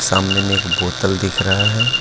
सामने में एक बोतल दिख रहा है।